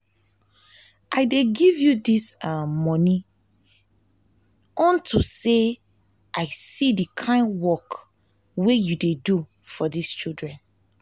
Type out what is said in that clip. i dey give you dis um money unto say i see the kin work wey you dey do for dis children